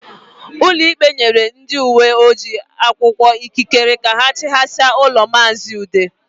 Ụlọikpe nyere ndị uwe ojii akwụkwọ ikikere ka ha chịghasịa ụlọ maazi Ude